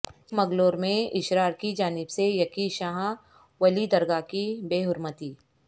چکمگلور میں اشرار کی جانب سے یقین شاہ ولی درگاہ کی بےحرمتی